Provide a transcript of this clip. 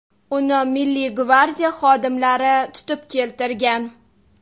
Uni Milliy gvardiya xodimlari tutib keltirgan.